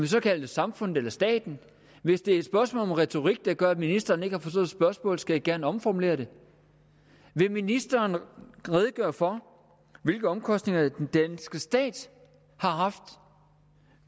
så kalde det samfundet eller staten hvis det er et spørgsmål om retorik der gør at ministeren ikke har forstået spørgsmålet skal jeg gerne omformulere det vil ministeren redegøre for hvilke omkostninger den danske stat har haft